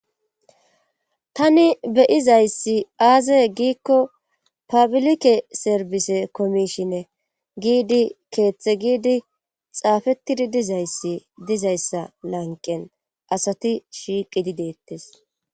Tani be'izayssi aazey giikko pabilike serbise komishinne giidi keeththe giidi xaafettidi dizayssi dizayssa lanqen asati shiiqidi deettes.